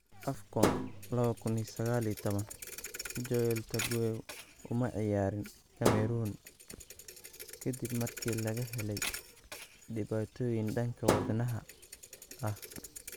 AFCON 2019: Joel Tagueu uma ciyaarin Cameroon ka dib markii laga helay dhibaatooyin dhanka wadnaha ah